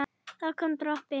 það kom dropi.